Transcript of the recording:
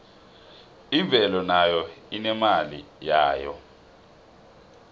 imvelo nayo inemali yayo